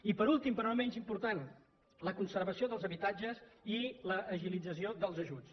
i per últim però no menys important la conservació dels habitatges i l’agilització dels ajuts